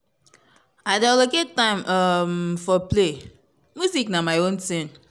i dey allocate time um for play music na my own thing.